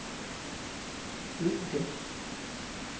bygge